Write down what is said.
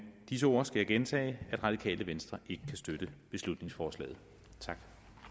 disse ord skal jeg gentage at radikale venstre ikke kan støtte beslutningsforslaget